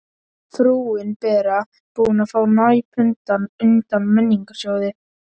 Frúin Bera búin að fá Næpuna undan Menningarsjóði.